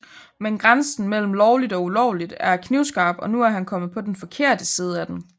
Men grænsen mellem lovligt og ulovligt er knivskarp og nu er han kommet på den forkerte side af den